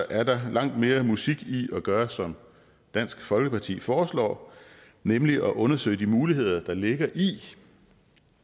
er der langt mere musik i at gøre som dansk folkeparti foreslår nemlig at undersøge de muligheder der ligger i